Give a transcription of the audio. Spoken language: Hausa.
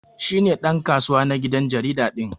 Shi ne dan kasuwa na gidan jarida din.